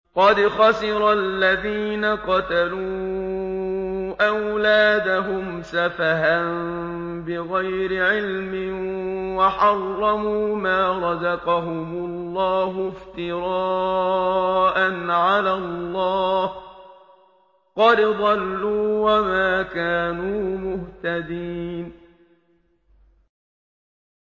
قَدْ خَسِرَ الَّذِينَ قَتَلُوا أَوْلَادَهُمْ سَفَهًا بِغَيْرِ عِلْمٍ وَحَرَّمُوا مَا رَزَقَهُمُ اللَّهُ افْتِرَاءً عَلَى اللَّهِ ۚ قَدْ ضَلُّوا وَمَا كَانُوا مُهْتَدِينَ